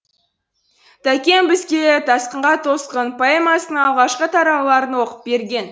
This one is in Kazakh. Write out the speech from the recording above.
тәкең бізге тасқынға тосқын поэмасының алғашқы тарауларын оқып берген